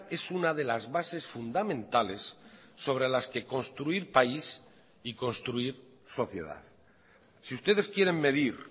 es una de las bases fundamentales sobre las que construir país y construir sociedad si ustedes quieren medir